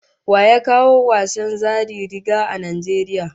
Wa ya kawo wasan tseren zari-ruga a Najeriya?